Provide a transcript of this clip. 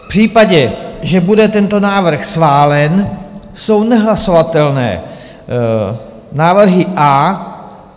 V případě, že bude tento návrh schválen, jsou nehlasovatelné návrhy A.